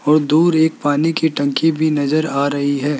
बहुत दूर एक पानी की टंकी भी नजर आ रही है।